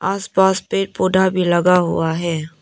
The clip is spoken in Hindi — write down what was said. आस पास पेड़ पौधा भी लगा हुआ है।